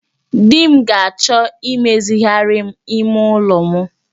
Di m ga-achọ imezigharịrị m ime ụlọ m